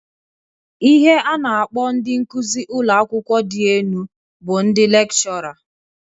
Ihe a na- akpọ ndị nkụzị ụlọakawụkwọ dị enu bụ ndị lekchọra.